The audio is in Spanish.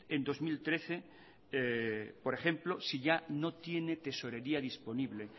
en dos mil trece por ejemplo si ya no tiene tesorería disponible